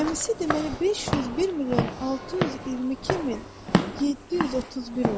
Cəmi isə deməli 501 milyon 622 min 731 oldu.